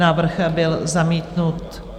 Návrh byl zamítnut.